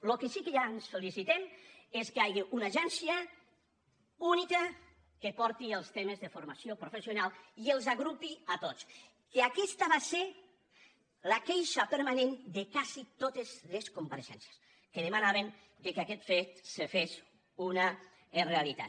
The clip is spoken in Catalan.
del que sí que ja ens felicitem és que hi hagi una agència única que porti els temes de formació professional i els agrupi a tots que aquesta va ser la queixa permanent de quasi totes les compareixences que demanaven que aquest fet se fes una realitat